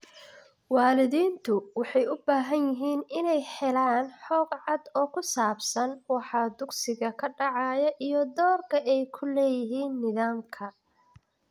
Waalidiintu waxay u baahan yihiin inay helaan xog cad oo ku saabsan waxa dugsiga ka dhacaya iyo doorka ay ku leeyihiin nidaamka.